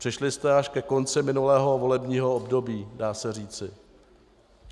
Přišli jste až ke konci minulého volebního období, dá se říci.